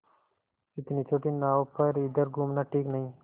इतनी छोटी नाव पर इधर घूमना ठीक नहीं